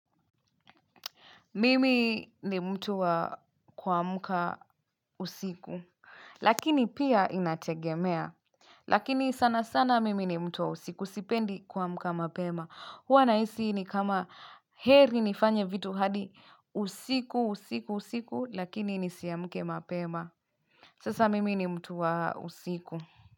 Mimi ni mtu wa kuamka usiku, lakini pia inategemea. Lakini sana sana mimi ni mtu wa usiku sipendi kuamka mapema. uHwa nahisi ni kama heri nifanye vitu hadi usiku. Usiku, usiku, lakini nisiamke mapema. Sasa mimi ni mtu wa usiku.